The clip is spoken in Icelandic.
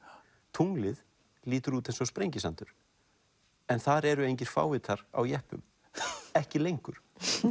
tunglið lítur út eins og Sprengisandur en þar eru engir fávitar á jeppum ekki lengur